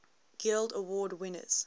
guild award winners